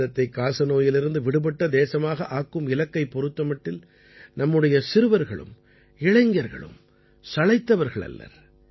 பாரதத்தைக் காசநோயிலிருந்து விடுபட்ட தேசமாக ஆக்கும் இலக்கைப் பொறுத்தமட்டில் நமது சிறுவர்களும் இளைஞர்களும் சளைத்தவர்கள் அல்லர்